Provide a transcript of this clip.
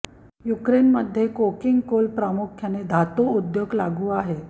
Ukraine मध्ये coking coal प्रामुख्याने धातू उद्योग लागू आहे